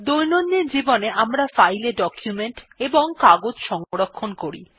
দৈনন্দিন জীবনে আমরা ফাইল এ ডকুমেন্ট এবং কাগজ সংরক্ষণ করি